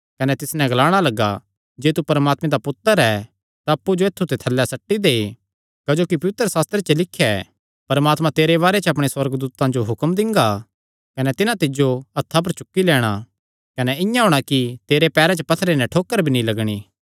कने तिस नैं ग्लाणा लग्गा जे तू परमात्मे दा पुत्तर ऐ तां अप्पु जो ऐत्थु ते थल्लैं सट्टी दे क्जोकि पवित्रशास्त्रे च लिख्या ऐ परमात्मा तेरे बारे च अपणे सुअर्गदूतां जो हुक्म दिंगा कने तिन्हां तिज्जो हत्थां पर चुक्की लैणां कने इआं होणा कि तेरे पैरां च पत्थरे नैं ठोकर भी नीं लगणी